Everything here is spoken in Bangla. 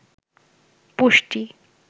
পুষ্টি